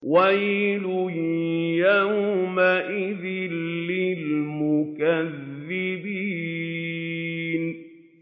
وَيْلٌ يَوْمَئِذٍ لِّلْمُكَذِّبِينَ